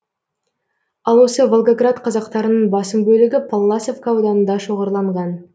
ал осы волгоград қазақтарының басым бөлігі палласовка ауданында шоғырланған